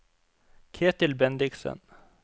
Ketil Bendiksen